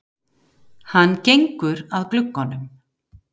Hann gengur að glugganum.